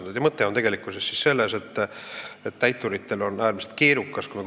Nii et mõte on tegelikkuses selles, et täituritel on äärmiselt keerukas tegutseda.